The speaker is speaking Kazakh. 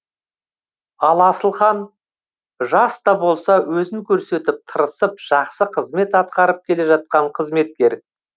ал асылхан жас та болса өзін көрсетіп тырысып жақсы қызмет атқарып келе жатқан қызметкер